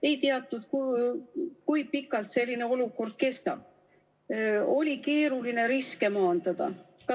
Ei teatud, kui pikalt selline olukord kestab, oli keeruline riske maandada.